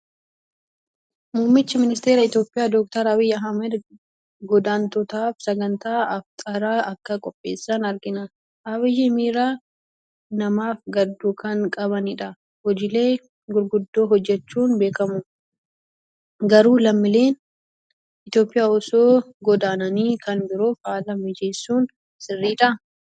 Muummichi Ministeera Itoophiyaa Dookter Abiyi Ahmed godaantotaaf sagantaa Afxiraa akka qopheessan argina. Abiyyi miira namaaf gadduu kan qabnidha. Hojiilee gurguddoo hojjechuun beekamu. Garuu lammiileen Itoophiyaa osoo godaananii kan biroof haala mijeessuun sirriidhaa?